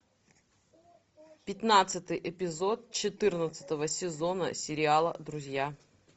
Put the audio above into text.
пятнадцатый эпизод четырнадцатого сезона сериала друзья